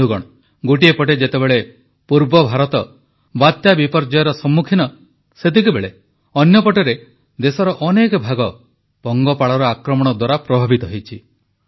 ବନ୍ଧୁଗଣ ଗୋଟିଏପଟେ ଯେତେବେଳେ ପୂର୍ବ ଭାରତ ବାତ୍ୟା ବିପର୍ଯ୍ୟୟର ସମ୍ମୁଖୀନ ସେତିକିବେଳେ ଅନ୍ୟପଟରେ ଦେଶର ଅନେକ ଭାଗ ପଙ୍ଗପାଳର ଆକ୍ରମଣ ଦ୍ୱାରା ପ୍ରଭାବିତ ହୋଇଛି